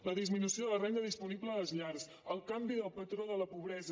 la disminució de la renda disponible a les llars el canvi del patró de la pobresa